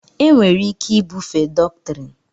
enwere ike ibufe dọktrịn